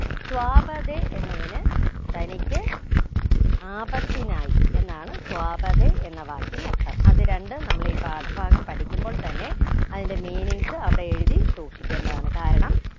സ്വാപതേ എന്നതിന് തനിക്ക് ആപത്തിനായി എന്നാണ് സ്വാപതേ എന്ന വാക്കിന് അർഥം അത് രണ്ടു നമ്മളീ പാഠഭാഗം പഠിക്കുമ്പോൾ തന്നെ അയിന്റെ meanings അവിടെ എഴുതി സൂക്ഷിക്കേണ്ടതാണ് കാരണം